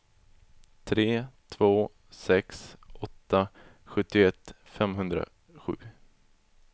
tre två sex åtta sjuttioett femhundrasju